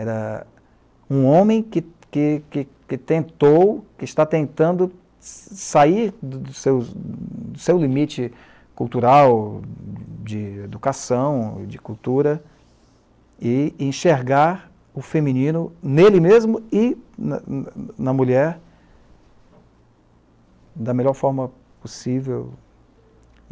Era um homem que, que, que tentou, que está tentando sair do seu, seu limite cultural, de educação, de cultura, e enxergar o feminino nele mesmo e na mulher da melhor forma possível.